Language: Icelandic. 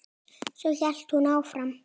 Svo hélt hún áfram